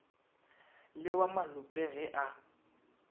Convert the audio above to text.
le wa malope ge a